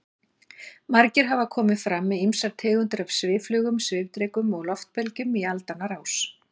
Margir hafa komið fram með ýmsar tegundir af svifflugum, svifdrekum og loftbelgjum í aldanna rás.